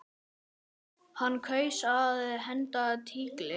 Hann kaus að henda tígli.